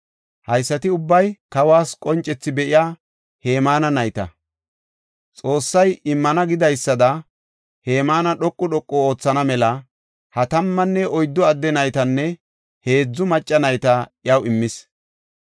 Haysati ubbay kawas qoncethi be7iya Hemaana nayta. Xoossay immana gidaysada Hemaana dhoqu dhoqu oothana mela ha tammanne oyddu adde naytanne heedzu macca nayta iyaw immis.